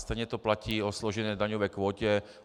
Stejně to platí o složené daňové kvótě.